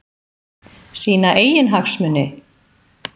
Sína eigin hagsmuni?